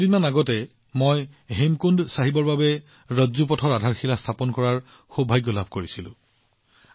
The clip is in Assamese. কিছুদিন আগতে মই হেমকুণ্ড চাহিবৰ বাবে ৰপৱেৰ আধাৰশিলা স্থাপন কৰাৰ সৌভাগ্য লাভ কৰিছিলো